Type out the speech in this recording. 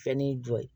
Fɛn n'i jɔ ye